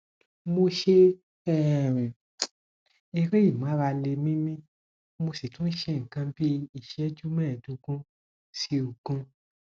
mo ṣe um eré ìmárale míímí mo sì tún ṣe nǹkan bí iṣẹju mẹẹẹdógún sí ogún